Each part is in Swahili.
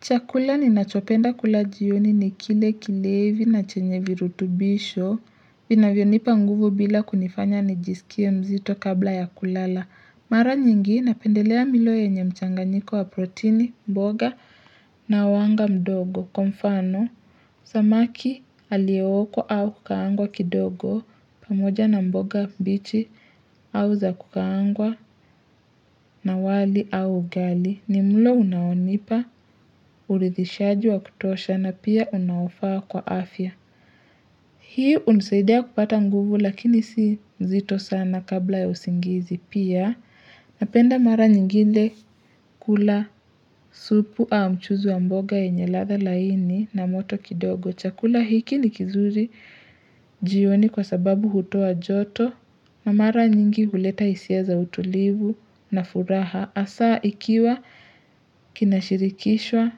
Chakula ninachopenda kula jioni ni kile kilevi na chenye virutubisho vinavyonipa nguvu bila kunifanya nijisikie mzito kabla ya kulala. Mara nyingi napendelea milo yenye mchanganyiko wa proteini, mboga na wanga mdogo. Kwa mfano, samaki aliyeokwa au kukaangwa kidogo pamoja na mboga mbichi au za kukaangwa na wali au ugali. Ni mlo unaonipa uridhishaji wa kutosha na pia unaofaa kwa afya hii hunisaidia kupata nguvu lakini si nzito sana kabla ya usingizi pia napenda mara nyingine kula supu ama mchuzi wa mboga yenye ladha laini na moto kidogo. Chakula hiki ni kizuri jioni kwa sababu hutoa joto na mara nyingi huleta hisia za utulivu na furaha hasa ikiwa kinashirikishwa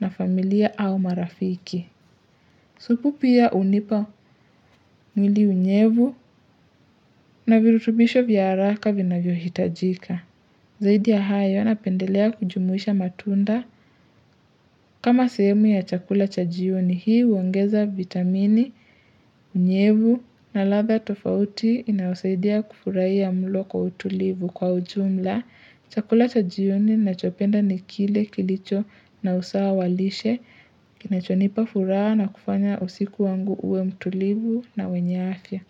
na familia au marafiki. Supu pia hunipa mwili unyevu na virutubisho vya haraka vinavyohitajika. Zaidi ya hayo napendelea kujumuisha matunda. Kama sehemu ya chakula cha jioni. Hii huongeza vitamini, unyevu na ladha tofauti inayosaidia kufurahia mlo kwa utulivu. Kwa ujumla, Chakula cha jioni ninachopenda ni kile kilicho na usawa wa lishe, kinachonipa furaha na kufanya usiku wangu uwe mtulivu na wenye afya.